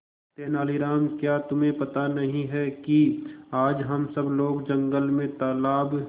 तेनालीराम क्या तुम्हें पता नहीं है कि आज हम सब लोग जंगल में तालाब